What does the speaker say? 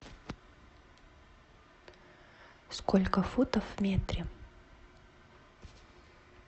сколько футов в метре